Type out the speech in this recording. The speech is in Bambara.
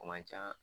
O man ca